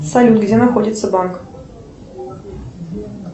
салют где находится банк